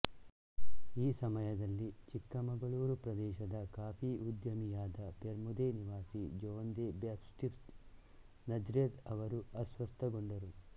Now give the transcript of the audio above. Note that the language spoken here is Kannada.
ಈ ಸಮಯದಲ್ಲಿ ಚಿಕ್ಕಮಗಳೂರು ಪ್ರದೇಶದ ಕಾಫಿ ಉದ್ಯಮಿಯಾದ ಪೆರ್ಮುದೆ ನಿವಾಸಿ ಜೋನ್ ದೆ ಬ್ಯಾಪ್ಟಿಸ್ಟ್ ನಜ್ರೆತ್ ಅವರು ಅಸ್ವಸ್ಥಗೊಂಡರು